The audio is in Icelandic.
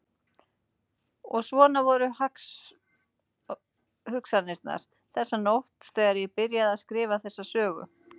Og svona voru hugsanirnar þessa nótt þegar ég byrjaði að skrifa þessa sögu.